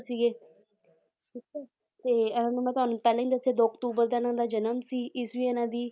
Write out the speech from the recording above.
ਸੀਗੇ ਠੀਕ ਹੈ ਤੇ ਇਹ ਮੈਂ ਤੁਹਾਨੂੰ ਪਹਿਲਾਂ ਹੀ ਦੱਸਿਆ ਦੋ ਅਕਤੂਬਰ ਦਾ ਇਹਨਾਂ ਦਾ ਜਨਮ ਸੀ ਈਸਵੀ ਇਹਨਾਂ ਦੀ